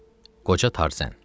Qoca Tarzən.